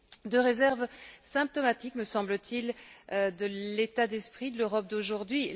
Deux réserves symptomatiques, me semble t il, de l'état d'esprit de l'Europe d'aujourd'hui.